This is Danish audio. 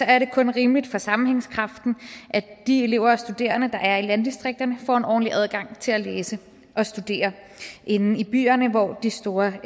er det kun rimeligt for sammenhængskraften at de elever og studerende der er i landdistrikterne får en ordentlig adgang til at læse og studere inde i byerne hvor de store